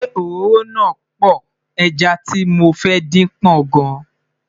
ṣé òróró na poor, ejá tí mọ fẹ dín pò gan